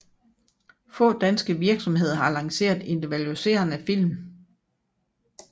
Få danske virksomheder har lanceret individualiserede film